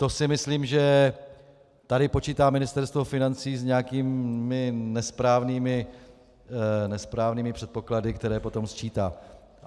To si myslím, že tady počítá Ministerstvo financí s nějakými nesprávnými předpoklady, které potom sčítá.